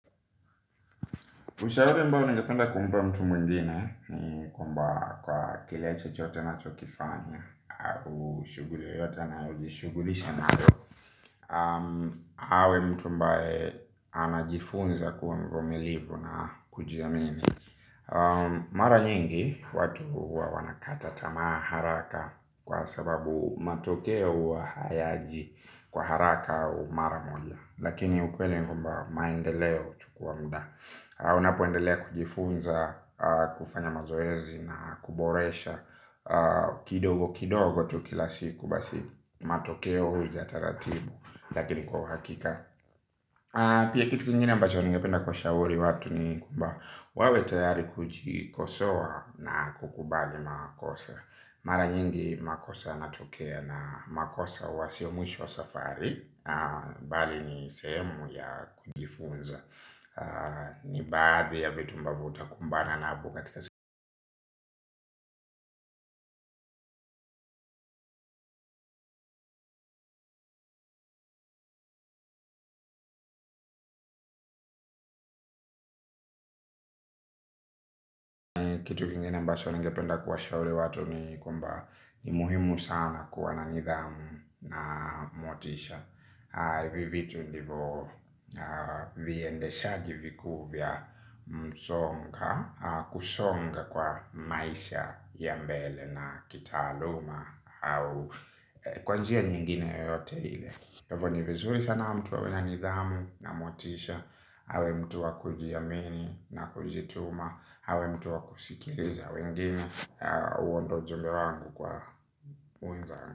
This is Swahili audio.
Ushauri ambao ningependa kumpa mtu mwingine ni kwamba kwa kile chochote unachokifanya au shughuli yoyote anayojishughulisha nayo awe mtu ambae anajifunza kuwa mvumilivu na kujiamini. Mara nyingi watu huwa wanakata tamaa haraka kwa sababu matokeo huwa hayaji kwa haraka au mara moja. Lakini ukweli ni kwamba maendeleo huchukua muda. Unapoendelea kujifunza, kufanya mazoezi na kuboresha kidogo kidogo tu kila siku basi matokeo huja taratibu lakini kwa uhakika. Pia kitu kingine ambacho ningependa kuwa shauri watu ni kwamba wawe tayari kujikosoa na kukubali makosa. Mara nyingi makosa yanatokea na makosa huwasio mwisho safari bali ni sehemu ya kujifunza ni baadhi ya vitu ambavyo utakumbana nazo katika kitu kingine ambacho ningependa kuwa shauri watu ni kwamba ni muhimu sana kuwa na nidhamu na motisha hivi vitu ndivo viendeshaji vikuu vya msonga. Kusonga kwa maisha ya mbele na kitaaluma au kwa njia nyingine yote ile kwa hivyo ni vizuri sana mtu awe wena nidhamu na motisha awe mtu wa kujiamini na kujituma awe mtu wa kusikiliza wengine huo ndio ujumbe wangu kwa unza.